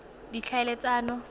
ditlhaeletsano